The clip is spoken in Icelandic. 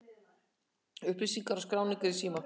Upplýsingar og skráning er í síma.